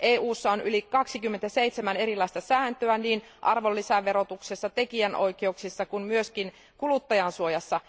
EUssa on yli 27 erilaista säädöstä, niin arvonlisäverotuksessa, tekijänoikeuksissa kuin myös kuluttajansuojassa.